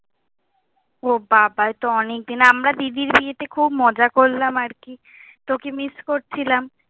ও বাবা, এই তো অনেক দিন। আমরা দিদির বিয়েতে খুব মজা করলাম আর কি! তোকে মিস করছিলাম।